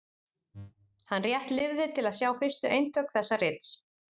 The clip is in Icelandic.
Hann rétt lifði til að sjá fyrstu eintök þess rits.